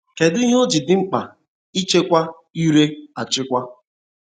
Kedụ ihe o ji dị mkpa ịchịkwa ire achịkwa?